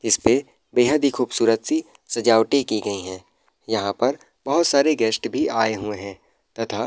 इसपे बेहद ही खूबसूरत-सी सजावटे की गयी हैं। यहाँ पर बहोत सारे गेस्ट भी आये हुए हैं तथा --